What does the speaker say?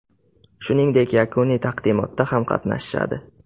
Shuningdek, yakuniy taqdimotda ham qatnashishadi.